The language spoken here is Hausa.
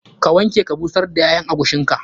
Ka wanke ka busar da ƴaƴan agushin ka.